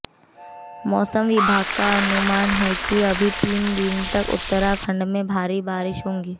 मौसम विभाग का अनुमान है कि अभी तीन दिन तक उत्तराखंड में भारी बारिश होगी